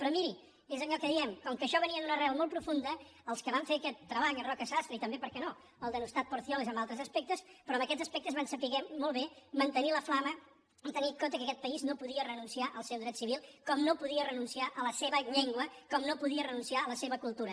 però miri és allò que diem com que això venia d’una arrel molt profunda els que van fer aquest treball en roca sastre i també per què no el denostat porcioles en altres aspectes però en aquests aspectes van saber molt bé mantenir la flama i tenir en compte que aquest país no podia renunciar al seu dret civil com no podia renunciar a la seva llengua com no podia renunciar a la seva cultura